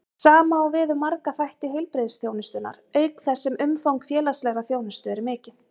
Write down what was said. Sama á við um marga þætti heilbrigðisþjónustunnar, auk þess sem umfang félagslegrar þjónustu er mikið.